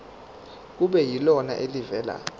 kube yilona elivela